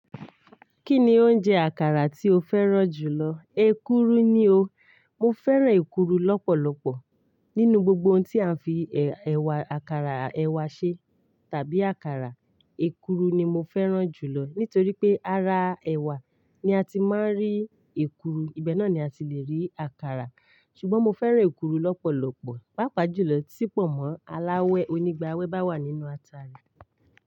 Kí ni oúnjẹ àkàrà tí o fẹ́ràn jù lọ? Èkuru ni o. Mo fẹ́ràn èkuru lọ́pọ̀lọpọ̀. Nínú gbogbo ohun tí a n fi ẹ̀wà àkàrà ẹ̀wà ṣe tàbí àkàrà, èkuru ni mo fẹ́ràn jù lọ nítorí pé ara ẹ̀wà ni a ti máa ń rí èkuru, ibẹ̀ náà ni a ti lè rí àkàrà. Ṣùgbọ́n mo fẹ́ràn èkuru lọ́pọ̀lọpọ̀, pàápàá jù lọ tí pọ̀nmọ́ aláwẹ́ onígba'wẹ́ bá wà nínú ata rẹ̀